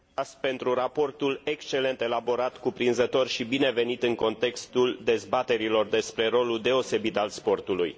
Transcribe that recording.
pentru raportul excelent elaborat, cuprinzător și binevenit în contextul dezbaterilor despre rolul deosebit al sportului.